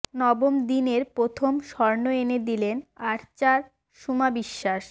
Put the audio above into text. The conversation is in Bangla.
নবম দিনের প্রথম স্বর্ণ এনে দিলেন আরচার সুমা বিশ্বাস